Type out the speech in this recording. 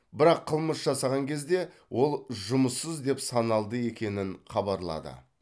бірақ қылмыс жасаған кезде ол жұмыссыз деп саналды екенін хабарлады